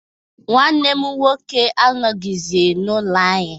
Nwanne m nwoke anọghịzi n'ụlọ anyị